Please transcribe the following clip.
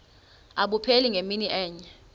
abupheli ngemini enye